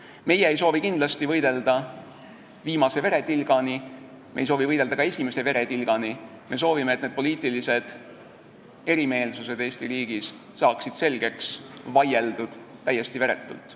Me ei soovi kindlasti võidelda viimse veretilgani, me ei soovi võidelda ka esimese veretilgani, me soovime, et need poliitilised erimeelsused Eesti riigis saaksid selgeks vaieldud täiesti veretult.